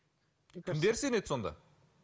кімдер сенеді сонда